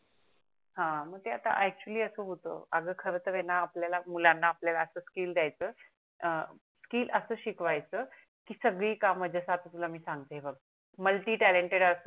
हा मग ते आता ACTUALLY अस होत अग खर तर आहे णा मुलाणा आपल्या अस स्किल दयाच अं स्किल अस शिकव्याच की सगडी काम जस आता मी तुला सांगते बग MULTI TALENTED अस